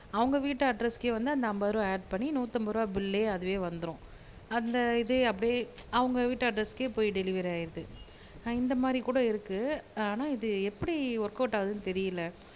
அவுங்க வீட்டு அட்ரஸ்க்கே வந்து அந்த அம்பது ரூபா ஆட் பண்ணி நூத்தம்பது ரூபா பில்லே அதுவே வந்துரும். அந்த இதே அப்டியே அவுங்க வீட்டு அட்ரஸ்க்கே போய் டெலிவரி ஆயிருது. ஆஹ் இந்த மாதிரி கூட இருக்கு ஆனா இது எப்படி ஒர்க்கவுட் ஆகுதுன்னு தெரியல